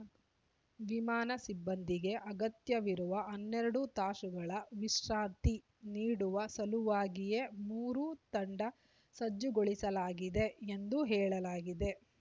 ವಿಮಾನ ಸಿಬ್ಬಂದಿಗೆ ಅಗತ್ಯವಿರುವ ಹನ್ನೆರಡು ತಾಸುಗಳ ವಿಶ್ರಾಂತಿ ನೀಡುವ ಸಲುವಾಗಿಯೇ ಮೂರು ತಂಡ ಸಜ್ಜುಗೊಳಿಸಲಾಗಿದೆ ಎಂದು ಹೇಳಲಾಗಿದೆ